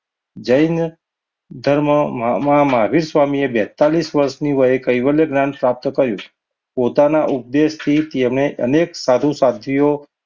જૈન ધર્મમા મહા~મહાવીર સ્વામીએ બેતાળીસ વર્ષની કૈવલ્ય જ્ઞાન પ્રાપ્ત કર્યું. પોતાના ઉપદેશથી તેને અનેક સાધુ સાધ્વીઓ,